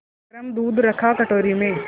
गरम दूध रखा कटोरी में